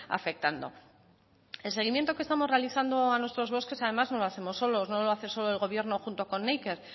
afectando el seguimiento que estamos realizando a nuestros bosques además no lo hacemos solos no lo hace solo el gobierno junto con neiker